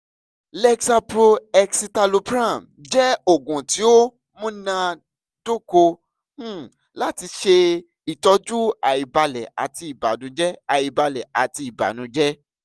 lexapro (escitalopram) jẹ oogun ti o munadoko um lati ṣe itọju aibalẹ ati ibanujẹ aibalẹ ati ibanujẹ